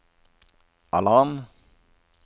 alarm